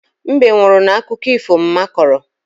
Mbe nwụrụ n'akụkọ ifo mma kọrọ.